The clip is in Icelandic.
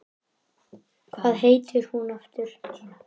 Hvað heitir hún aftur?